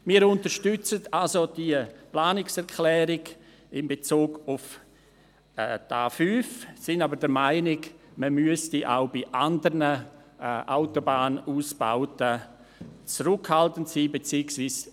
Wir unterstützen also diese Planungserklärung in Bezug auf die A5, sind aber der Meinung, man müsste auch bei anderen Autobahnausbauten zurückhaltend sein, beziehungsweise